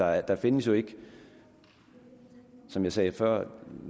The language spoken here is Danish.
ej der findes jo ikke som jeg sagde før